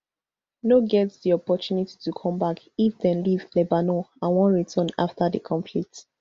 no get di opportunity to come back if dem leave lebanon and wan return afta di conflict